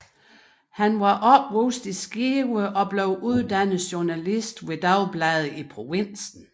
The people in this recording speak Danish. Han var opvokset i Skive og blev uddannet journalist ved dagblade i provinsen